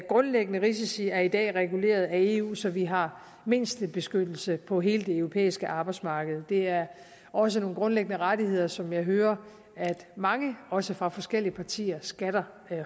grundlæggende risici er i dag reguleret af eu så vi har mindstebeskyttelse på hele det europæiske arbejdsmarked det er også nogle grundlæggende rettigheder som jeg hører at mange også fra forskellige partier skatter